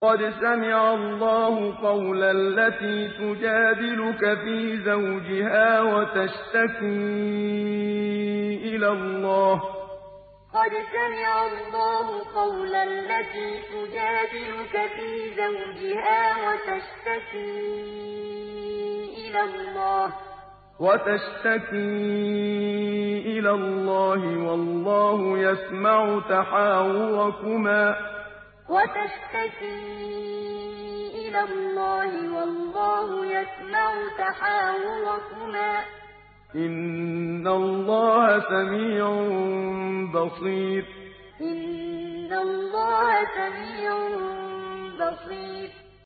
قَدْ سَمِعَ اللَّهُ قَوْلَ الَّتِي تُجَادِلُكَ فِي زَوْجِهَا وَتَشْتَكِي إِلَى اللَّهِ وَاللَّهُ يَسْمَعُ تَحَاوُرَكُمَا ۚ إِنَّ اللَّهَ سَمِيعٌ بَصِيرٌ قَدْ سَمِعَ اللَّهُ قَوْلَ الَّتِي تُجَادِلُكَ فِي زَوْجِهَا وَتَشْتَكِي إِلَى اللَّهِ وَاللَّهُ يَسْمَعُ تَحَاوُرَكُمَا ۚ إِنَّ اللَّهَ سَمِيعٌ بَصِيرٌ